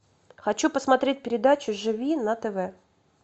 хочу посмотреть передачу живи на тв